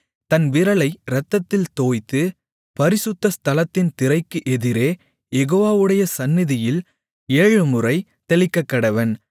தன் விரலை இரத்தத்தில் தோய்த்து பரிசுத்த ஸ்தலத்தின் திரைக்கு எதிரே யெகோவாவுடைய சந்நிதியில் ஏழுமுறை தெளிக்கக்கடவன்